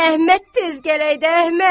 Əhməd tez gələydi Əhməd.